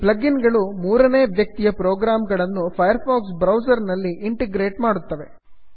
plug in ಗಳು ಮೂರನೇ ವ್ಯಕ್ತಿಯ ಪ್ರೋಗ್ರಾಮ್ ಗಳನ್ನು ಫೈರ್ ಫಾಕ್ಸ್ ಬ್ರೌಸರ್ನಲ್ಲಿ ಇಂಟಿಗ್ರೇಟ್ ಮಾಡುತ್ತವೆ